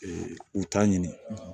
u ta ɲini